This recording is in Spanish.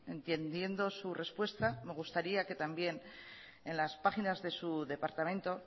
entendiendo su respuesta me gustaría que también las páginas de su departamento